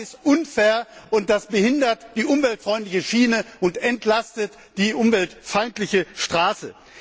Das ist unfair und das behindert die umweltfreundliche Schiene und entlastet die umweltfeindliche Straße.